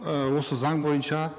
ы осы заң бойынша